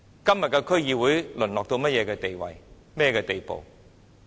今天的區議會已淪落到甚麼地步？